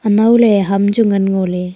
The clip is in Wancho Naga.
anow ley ham chu ngan ngo ley.